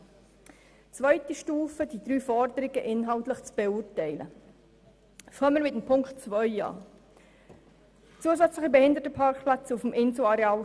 Zur zweiten Stufe, der inhaltlichen Beurteilung der drei Forderungen: Beginnen wir mit Ziffer 2, «zusätzliche Behindertenparkplätze auf dem Inselareal».